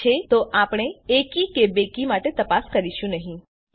જો છે તો આપણે એકી કે બેકી માટે તપાસ કરીશું નહી